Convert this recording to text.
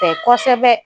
Fɛ kɔsɛbɛ